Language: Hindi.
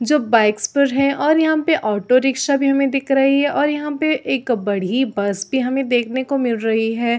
जो बाइक्स पर है और यहाँ पे ऑटो रिक्शा की हमें दिख रही है और यहाँ पे एक बाडीह बस हमें देखने को मिल रही है।